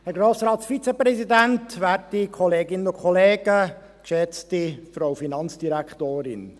Wir kommen zu den Fraktionen, als Erstes für die BDP Jakob Etter.